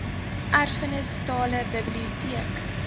erfenis tale biblioteke